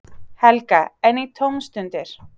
Helga: En í tómstundir?